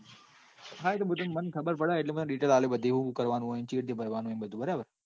હા એતો મને ખબર પડે એટલે મ detail આપ્યો તને બધી કેવી રીતે કરવા નું ને.